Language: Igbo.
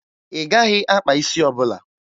Ị gaghị akpa isi ọbụla!